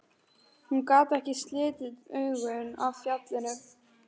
Hún gat ekki slitið augun af fjallinu.